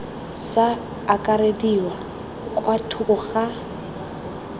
sa akarediwa kwa thoko ga